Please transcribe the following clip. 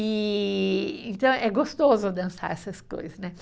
E, então, é gostoso dançar essas coisas, né